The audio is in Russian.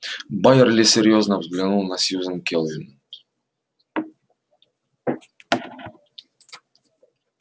байерли серьёзно взглянул на сьюзен кэлвин